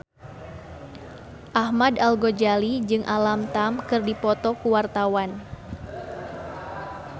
Ahmad Al-Ghazali jeung Alam Tam keur dipoto ku wartawan